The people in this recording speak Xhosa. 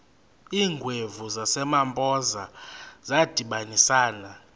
iingwevu zasempoza zadibanisana